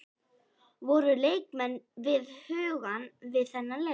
Voru leikmenn við hugann við þann leik?